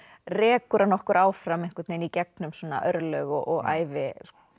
rekur hann okkur áfram einhvern veginn í gegnum örlög og ævi